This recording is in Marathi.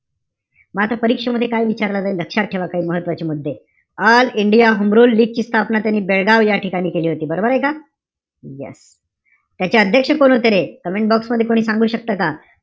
मात्र परीक्षेमध्ये लय विचारलं जाईल? लक्षात ठेवा काही महत्वाचे मुद्दे. ऑल इंडिया होम रुल लीगची स्थापना त्यांनी बेळगाव याठिकाणी केली होती. बरोबरय का? Yes त्याचे अध्यक्ष कोण होते रे? Comment box मध्ये कोणी सांगू शकतं का?